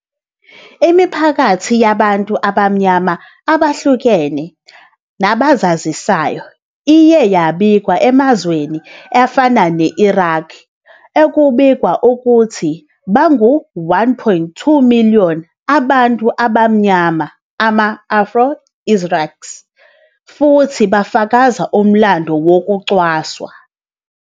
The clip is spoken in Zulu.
Imiphakathi yabantu abamnyama abahlukene nabazazisayo iye yabikwa emazweni afana ne-Iraq, okubikwa ukuthi bangu-1.2 million abantu abamnyama, ama-Afro-Iraqis, futhi bafakazela umlando wokucwasa.